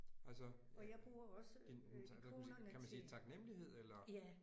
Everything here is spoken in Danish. Altså din hvad kan man sige kan man sige taknemmelighed eller?